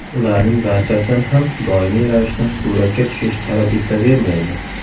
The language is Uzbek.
Ularning barchasidan ham doimiy ravishda suratga tushish talab etilavermaydi.